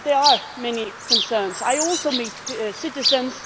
It is clear that there are many concerns. I also meet citizens